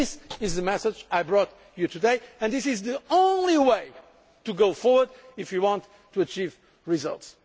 This is the message I brought you today and this is the only way to go forward if we want to achieve results.